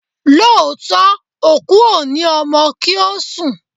Lóòótọ́, òkú o ní ọmọ kì ń sùn.